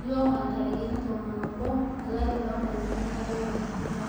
lionguan ntarikini tomon obo, olari loonkalifuni are o tikitam.